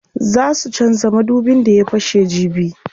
Zaa su canza madubin da ya fashe jibi.